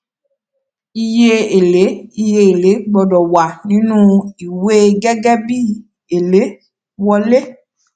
iye èlé iye èlé gbọdọ wà nínú ìwé gẹgẹ bí èlé wọlé